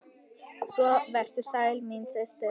Svo vertu sæl, mín systir!